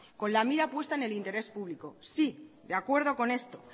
con la mira puesta en el interés público sí de acuerdo con esto